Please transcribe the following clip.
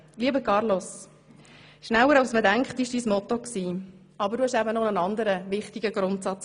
Lieber Carlos, dein Motto war «schneller als man denkt», aber du hattest eben noch einen anderen, wichtigen Grundsatz: